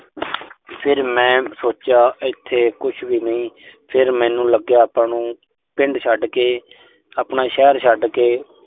ਫਿਰ ਮੈਂ ਸੋਚਿਆ, ਇਥੇ ਕੁਸ਼ ਵੀ ਨਹੀਂ। ਫਿਰ ਮੈਨੂੰ ਲੱਗਿਆ, ਆਪਾਂ ਨੂੰ ਪਿੰਡ ਛੱਡ ਕੇ, ਆਪਣਾ ਸ਼ਹਿਰ ਛੱਡ ਕੇ